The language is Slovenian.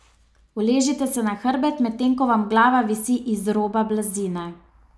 Uležite se na hrbet, med tem ko vam glava visi iz roba blazine.